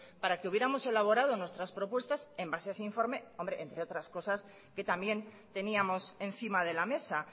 para que hubiéramos elaborado nuestras propuestas en base a ese informe entre otras cosas que también teníamos encima de la mesa